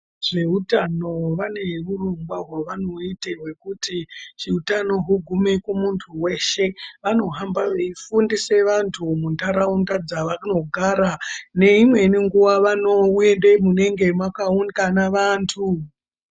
Zveutano vane urongwa hwavanoita hwekuti utano ugume kumuntu weshe vanohamba veifundishe vantu munharaunda dzavanogara neimweni nguva vanoende munenge mwakaungana vantu.